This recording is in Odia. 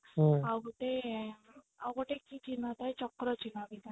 ଆଉ ଗୋଟେ ଆଁ କି ଚିହ୍ନ ଥାଏ ଚକ୍ର ଚିହ୍ନ ବି ଥାଏ